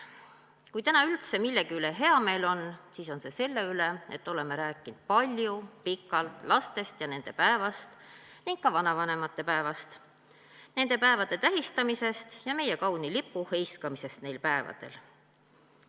Kui täna üldse millegi üle hea meel on, siis selle üle, et oleme rääkinud palju ja pikalt lastest ja nende päevast ning ka vanavanemate päevast, nende päevade tähistamisest ja meie kauni lipu heiskamisest neil päevadel.